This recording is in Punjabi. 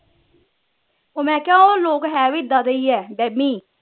ਉਹ ਮੈਂ ਕਿਹਾ ਉਹ ਲੋਕ ਹੈ ਵੀ ਇੱਦਾ ਦੇ ਈ ਹੈ ਵਹਮੀ